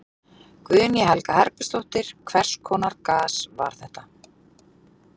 Guðný Helga Herbertsdóttir: Hvers konar gas var þetta?